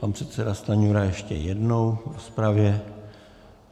Pan předseda Stanjura ještě jednou v rozpravě.